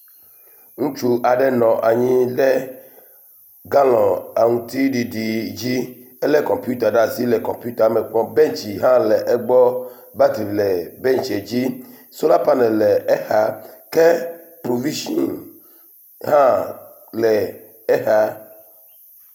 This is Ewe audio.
Ŋutsu aɖe nɔ anyi ɖe galɔ aŋutiɖiɖi dzi, elé kɔmpita ɖe asi le kɔmpita me kpɔm. bɛntsi hã egbɔ, batri le bɛntsie dzi. Sola panel le exa ke provitsin hã le exa.